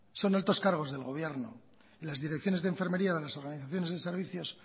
son altos cargos del gobierno las direcciones de enfermería de las organizaciones de servicios